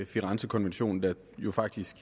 firenzekonventionen der jo faktisk